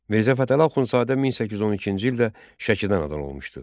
Mirzə Fətəli Axundzadə 1812-ci ildə Şəkidən anadan olmuşdu.